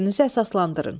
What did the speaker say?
Fikrinizi əsaslandırın.